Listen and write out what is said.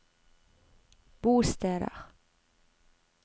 bosteder